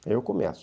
Aí eu começo.